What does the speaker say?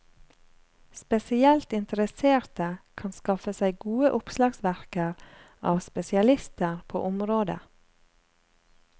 Spesielt interesserte kan skaffe seg gode oppslagsverker av spesialister på området.